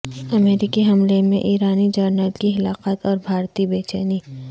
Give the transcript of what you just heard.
امریکی حملے میں ایرانی جنرل کی ہلاکت اور بھارتی بے چینی